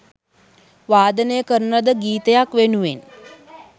වාදනය කරන ලද ගීතයක් වෙනුවෙන්